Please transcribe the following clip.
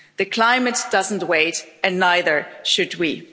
The climate doesn't wait and neither should we.